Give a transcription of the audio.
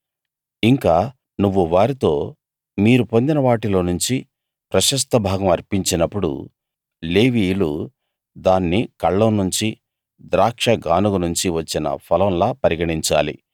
ఇంకా నువ్వు వారితో మీరు పొందిన వాటిలో నుంచి ప్రశస్తభాగం అర్పించినప్పుడు లేవీయులు దాన్ని కళ్ళం నుంచీ ద్రాక్షగానుగ నుంచీ వచ్చిన ఫలంలా పరిగణించాలి